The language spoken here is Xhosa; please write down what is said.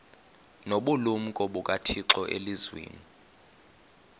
nobulumko bukathixo elizwini